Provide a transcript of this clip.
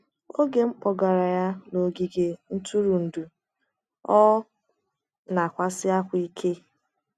oge m gbogara ya n’ogige ntụrụndụ, ọ na - akwasi ákwá ike.